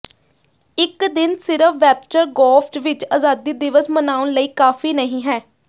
ਇਕ ਦਿਨ ਸਿਰਫ ਵੇਬਸਟਰ ਗ੍ਰੋਵਜ਼ ਵਿਚ ਆਜ਼ਾਦੀ ਦਿਵਸ ਮਨਾਉਣ ਲਈ ਕਾਫ਼ੀ ਨਹੀਂ ਹੈ